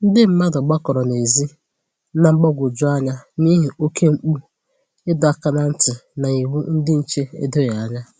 ndị mmadụ gbakọrọ n'ezi, na mgbagwoju anya n'ihi oke mkpu ịdọ áká na ntị na iwu ndị nche edoghi ànyà